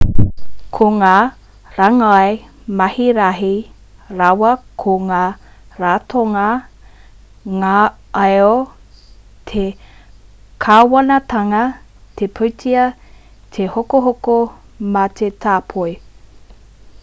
ko ngā rāngai mahi rahi rawa ko ngā ratonga ngaio te kāwanatanga te pūtea te hokohoko me te tāpoi